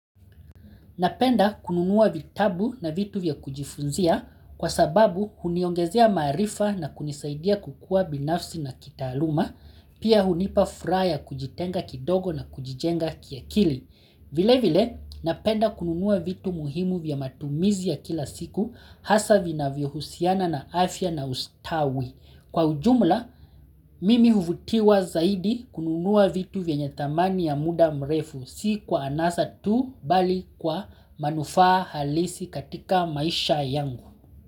Napenda kununua vitabu na vitu vya kujifunzia kwasababu huniongezea maarifa na kunisaidia kukua binafsi na kitaaluma, pia hunipa furaha ya kujitenga kidogo na kujijenga kiakili. Vile vile napenda kununua vitu muhimu vya matumizi ya kila siku hasa vinavyo husiana na afya na ustawi. Kwa ujumla mimi huvutiwa zaidi kununua vitu vyenye thamani ya muda mrefu si kwa anasa tu bali kwa manufaa halisi katika maisha yangu.